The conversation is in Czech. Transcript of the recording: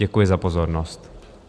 Děkuji za pozornost.